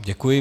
Děkuji.